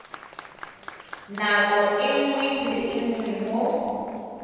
nako nngwe le nngwe mo